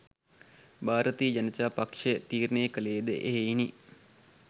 භාරතීය ජනතා පක්ෂය තීරණය කළේ ද එහෙයිනි.